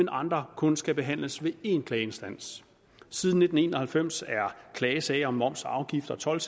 andre kun skal behandles ved én klageinstans siden nitten en og halvfems er klagesager om moms afgift og told